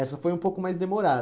Essa foi um pouco mais demorada.